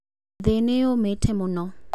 Thĩ nĩyũmĩte mũno